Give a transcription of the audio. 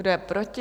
Kdo je proti?